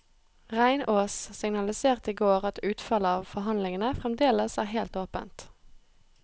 Reinås signaliserte i går at utfallet av forhandlingene fremdeles er helt åpent.